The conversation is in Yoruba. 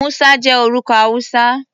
Musa jẹ́ orúkọ Hausa.